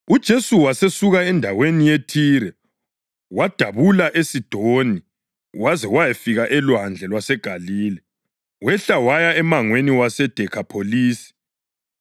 UJesu wasesuka endaweni yeThire wadabula eSidoni waze wayafika oLwandle lwaseGalile wehla waya emangweni waseDekhapholisi.